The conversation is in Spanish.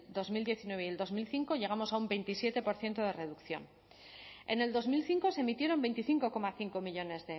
dos mil diecinueve y el dos mil cinco llegamos a un veintisiete por ciento de reducción en el dos mil cinco se emitieron veinticinco coma cinco millónes